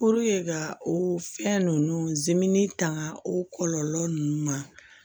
ka o fɛn ninnu tanga o kɔlɔlɔ ninnu ma